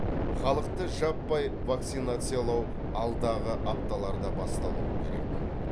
халықты жаппай вакцинациялау алдағы апталарда басталуы керек